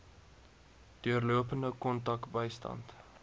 deurlopende kontak bystand